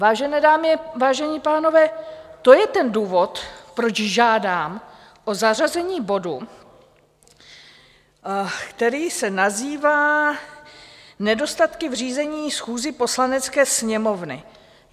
Vážené dámy, vážení pánové, to je ten důvod, proč žádám o zařazení bodu, který se nazývá Nedostatky v řízení schůzí Poslanecké sněmovny.